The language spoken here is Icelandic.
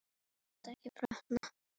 Þú mátt ekki brotna.